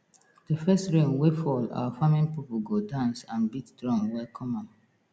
the first rain wey fall our farming people go dance and beat drum welcome am